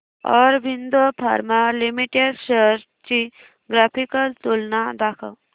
Aurobindo pharma limited shares ची graphical तुलना दाखव